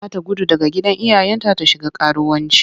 Za ta gudu daga gidan iyayenta ta shiga karuwanci.